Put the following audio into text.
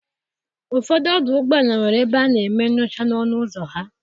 Ụfọdụ ọdụ ụgbọ ala nwere ebe ana eme nyocha n'ọnụ ụzọ ha.